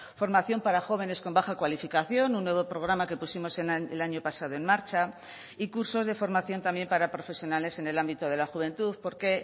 formación para jóvenes con baja cualificación un nuevo programa que pusimos el año pasado en marcha y cursos de formación también para profesionales en el ámbito de la juventud porque